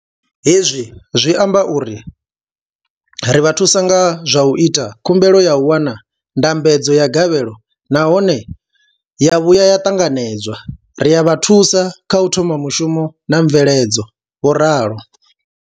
Hezwi zwi amba uri ri vha thusa nga zwa u ita khumbelo ya u wana ndambedzo ya gavhelo nahone ya vhuya ya ṱanganedzwa, ri a vha thusa kha u thoma mushumo na mveledzo, vho ralo.